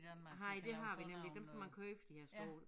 Nej det har vi nemlig ikke dem skal man køre efter de her store